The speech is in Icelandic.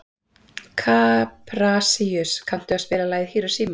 Kaprasíus, kanntu að spila lagið „Hiroshima“?